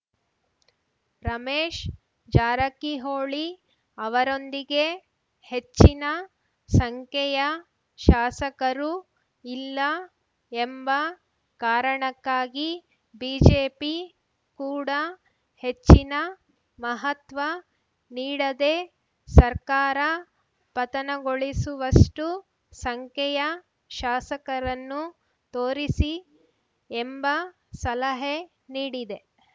ರಮೇಶ್‌ ಜಾರಕಿಹೊಳಿ ಅವರೊಂದಿಗೆ ಹೆಚ್ಚಿನ ಸಂಖ್ಯೆಯ ಶಾಸಕರು ಇಲ್ಲ ಎಂಬ ಕಾರಣಕ್ಕಾಗಿ ಬಿಜೆಪಿ ಕೂಡ ಹೆಚ್ಚಿನ ಮಹತ್ವ ನೀಡದೆ ಸರ್ಕಾರ ಪತನಗೊಳಿಸುವಷ್ಟುಸಂಖ್ಯೆಯ ಶಾಸಕರನ್ನು ತೋರಿಸಿ ಎಂಬ ಸಲಹೆ ನೀಡಿದೆ